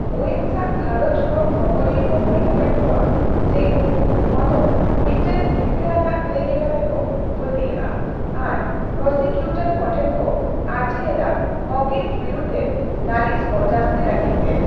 ᱟᱣᱭᱮᱱᱥ ᱟᱜ ᱜᱷᱟᱨᱚᱸᱡᱽ ᱦᱚᱲ ᱠᱷᱚᱵᱚᱨᱤᱭᱟᱹ ᱠᱚ ᱢᱮᱱ ᱟᱠᱟᱫ ᱠᱚᱣᱟ ᱡᱮ ᱩᱱᱠᱩ ᱱᱚᱣᱟ ᱫᱚ ᱢᱤᱫᱴᱟᱝ ᱦᱤᱨᱠᱟᱹ ᱟᱱᱟᱜ ᱠᱟᱹᱭ ᱞᱮᱠᱟᱛᱮᱠᱚ ᱯᱟᱹᱛᱭᱟᱹᱣᱟᱜᱼᱟ ᱟᱨ ᱯᱚᱨᱚᱥᱤᱠᱤᱣᱴᱚᱨ ᱠᱚᱴᱷᱮᱱ ᱠᱚ ᱟᱹᱨᱡᱤ ᱞᱮᱫᱟ ᱦᱚᱠᱤᱱᱥ ᱵᱤᱨᱩᱫᱷᱨᱮ ᱞᱟᱹᱞᱤᱥ ᱠᱚ ᱡᱟᱹᱥᱛᱤ ᱞᱟᱹᱜᱤᱫ ᱛᱮ ᱾